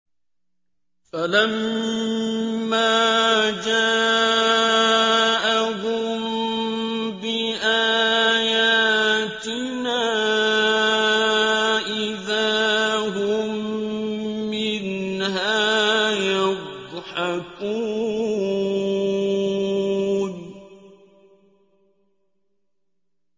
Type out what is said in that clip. فَلَمَّا جَاءَهُم بِآيَاتِنَا إِذَا هُم مِّنْهَا يَضْحَكُونَ